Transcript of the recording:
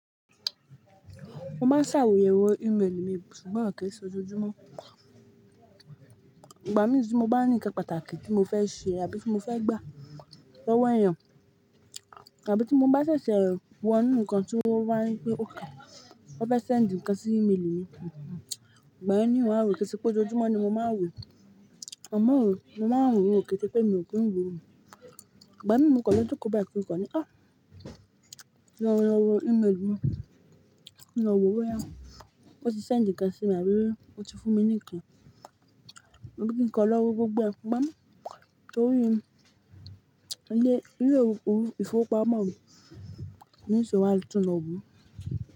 Mo man sayewo email mi ṣùgbọ́n kii se ojoojúmọ́ ìgbà mìíràn tí mo bá ní ǹkan pàtàkì tí mo fẹ́ ṣe àbí tí mo fẹ́ gbà, lowo ẹ́yàn àbí tí mo bá ṣẹ̀ṣẹ̀ wo ńǹkan tí ó wá wípé ó kà, ó fẹ́ send ǹkan sí email mi, ìgbà mìíràn ni wọ́n á wò kí ó tó pé ojojúmọ́ ni mo máa ń wò. Àmọ́ ò, mo máa ń wò ní òkè tí pé mi ò kí ń wo òun. Igbami mo kan le joko bayi kin kan ni a jen lo wo email mi boya won ti send nkan simi àbí won ti funmi ni nkan mo ní kí n kan lọ́ wo gbogbo ẹ, gbá mú. Torí, ilé, ilé òru, ìfowópamọ́ mi, ní ìṣe wá tún lọ wu.